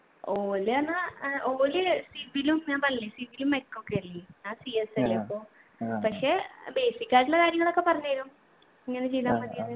ഓല് ന്ന് ഏർ ഓല് civil ഉം ഞാൻ പറഞ്ഞില്ലേ civil ഉം mech ഒക്കെ അല്ലെ ഞാൻ CS അല്ലെ അപ്പൊ പക്ഷെ ഏർ basic ആയിട്ടുള്ള കാര്യങ്ങളൊക്കെ പറഞ്ഞു തരും ഇങ്ങനെ ചെയ്താ മതി എന്ന്